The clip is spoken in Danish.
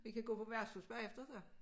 Vi kan gå på værtshus bagefter så